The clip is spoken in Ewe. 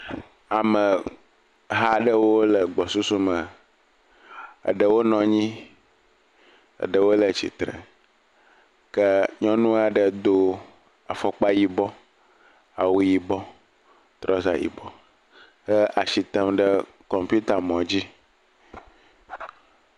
Ameha aɖewo le gbɔsusu me, eɖewo nɔ anyi, eɖewo le tsitre, ke nyɔnu aɖe do afɔkpa yibɔ, awu yibɔ, trɔza yibɔ he asi tem ɖe kɔmpitamɔ dzi.